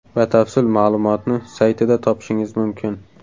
Batafsil ma’lumotni saytida topishingiz mumkin.